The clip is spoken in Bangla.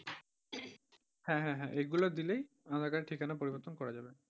হ্যাঁ, হ্যাঁ, হ্যাঁ, এগুলো দিলেই aadhaar card এর ঠিকানা পরিবর্তন করা যাবে।